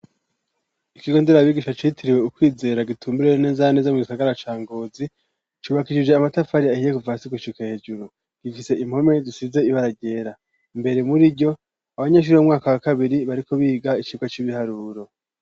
Ikigo ndererabigisha citiriwe ukwizera gitumbereye neza neza mu gisagara ca Ngozi, cubakijije amatafari ahiye kuva hasi gushika hejuru. Gifise impome zisize ibara ryera. Imbere muriryo, abanyeshure b'umwaka wa kabiri bariko biga icigwa c'ibiharuro.